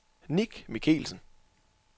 Nick Michelsen